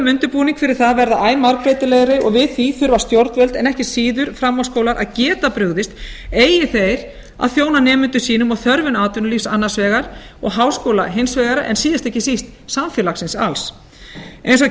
undirbúning fyrir það verða æ margbreytilegri og við því þurfa stjórnvöld en ekki síður framhaldsskólar að geta brugðist eigi þeir að þjóna nemendum sínum og þörfum atvinnulífs annars vegar og háskóla hins vegar en síðast en ekki síst samfélagsins alls eins og